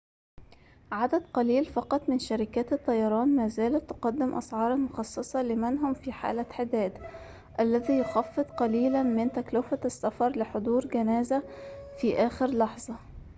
عدد قليل فقط من شركات الطيران ما زالت تقدم أسعاراً مخصصة لمن هم في حالة حداد الذي يخفض قليلاً من تكلفة السفر لحضور جنازة في آخر لحظة